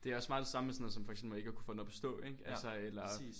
Det også meget det samme med sådan noget som for eksempel ikke at kunne få den op at stå ikke?